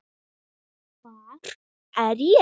hvar er ég?